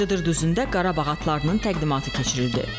Cıdır düzündə Qarabağ atlarının təqdimatı keçirildi.